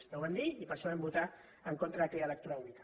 ja ho vam dir i per això vam votar en contra d’aquella lectura única